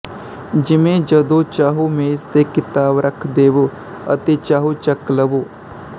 ਜਿਵੇਂ ਜਦੋਂ ਚਾਹੋ ਮੇਜ਼ ਤੇ ਕਿਤਾਬ ਰੱਖ ਦੇਵੋ ਅਤੇ ਚਾਹੋ ਚੱਕ ਲਵੋ